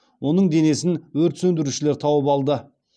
оның денесін өрт сөндірушілер тауып алды